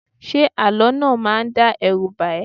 Ṣé àlọ́ náà ò máa dá ẹrú bà ẹ́?